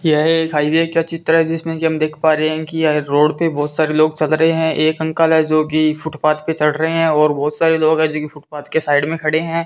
यह एक हायवे का चित्र है जिसमें की हम देख पा रहें हैं कि यह रोड पे बहोत सारे लोग चल रहें हैं एक अंकल है जोकि फुटपाथ पे चढ़ रहें हैं और बहोत सारे लोग है जोकि फुटपाथ के साइड में खड़े हैं।